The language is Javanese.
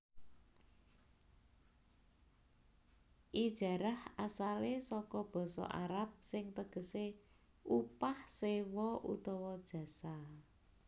Ijarah asalé saka basa Arab sing tegesé upah sewa utawa jasa